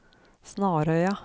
Snarøya